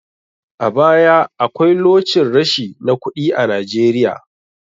A baya akwai locin rashi na kuɗi a Najeiya.